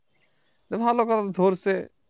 তো ভালো কথা ধরছে